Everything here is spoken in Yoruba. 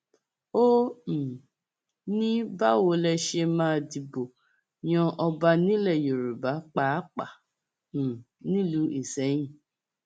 ó um ní báwo lẹ ṣe máa dìbò yan ọba nílẹ yorùbá pàápàá um nílùú isẹyìn